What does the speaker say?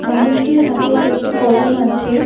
মানুষটির হাতে একটি কলম আছে।